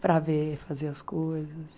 Para ver, fazer as coisas...